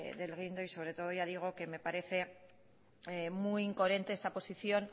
del guindo y sobre todo ya digo que me parece muy incoherente esa posición